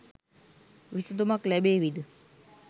විසදුමක් ලැබේවිද?